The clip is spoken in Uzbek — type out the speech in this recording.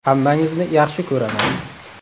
Hammangizni yaxshi ko‘raman.